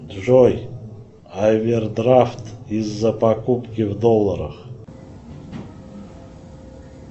джой авердрафт из за покупки в долларах